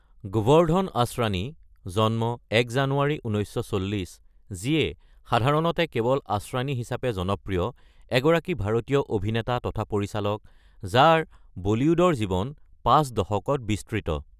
গোৱাৰ্দ্ধন আসৰানী (জন্ম ১ জানুৱাৰী, ১৯৪০), যিয়ে সাধাৰণতে কেৱল আসৰানী হিচাপে জনপ্ৰিয়, এগৰাকী ভাৰতীয় অভিনেতা তথা পৰিচালক, যাৰ বলিউডৰ জীৱন পাঁচ দশকত বিস্তৃত।